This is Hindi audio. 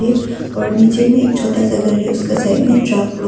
और नीचे में एक छोटा सा घर है उसका साइड में ट्रक लो--